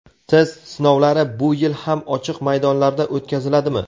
Test sinovlari bu yil ham ochiq maydonlarda o‘tkaziladimi?.